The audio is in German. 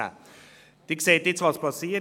Sie sehen nun, was geschieht.